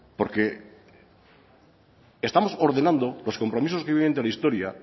porque estamos ordenando los compromisos que vienen de la historia